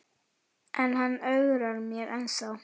En hann ögrar mér ennþá.